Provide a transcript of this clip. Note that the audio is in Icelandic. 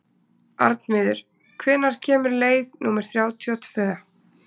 Arnviður, hvenær kemur leið númer þrjátíu og tvö?